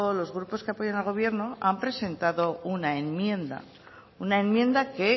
los grupos que apoyan al gobierno han presentado una enmienda una enmienda que